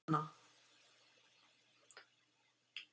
Anna